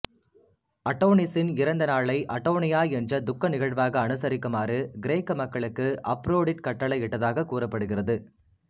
அடோனிசின் இறந்த நாளை அடோனியா என்ற துக்க நிகழ்வாக அனுசரிக்குமாறு கிரேக்க மக்களுக்கு அப்ரோடிட் கட்டளை இட்டதாகக் கூறப்படுகிறது